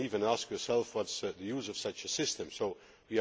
You could even ask yourself what the use of such a system is.